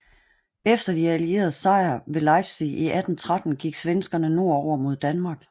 Efter de allieredes sejr ved Leipzig i 1813 gik svenskerne nordover mod Danmark